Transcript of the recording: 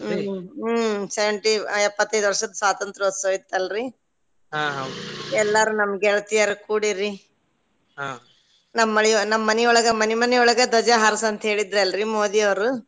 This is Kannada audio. ಹು ಹು ಹ್ಮ್ seventy ಎಪ್ಪತೈದ್ ವರ್ಷದ್ ಸ್ವಾತಂತ್ರ್ಯೋತ್ಸವ ಇತ್ತಲ್ರಿ ಎಲ್ಲಾರು ನಮ್ ಗೆಳತಿಯರ್ ಕೂಡಿರಿ ನಮ್ ಮನಿ~ ನಮ್ ಮನಿಯೊಳಗ ಮನಿ ಮನಿಯೊಳಗ ಧ್ವಜ ಹಾರಿಸಿ ಅಂತ ಹೇಳಿದ್ರಲ್ರಿ ಮೋದಿಯವ್ರು.